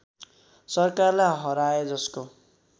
सरकारलाई हराए जसको